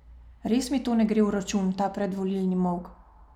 Res mi to ne gre v račun, ta predvolilni molk.